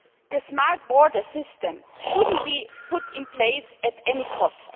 The smart border system should not be put in place at any cost.